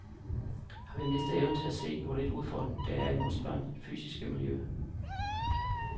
Har vi mistet evnen til at se, hvor lidt udfordring der er i vore børns fysiske miljø?